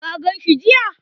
Ka gan shi jiya?